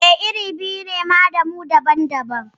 Eh, iri biyu ne ma da mu daban-daban